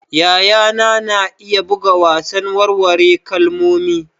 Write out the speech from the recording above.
Yayana na iya buga wasan warware kalmomi.